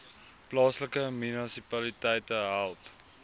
plaaslike munisipaliteite help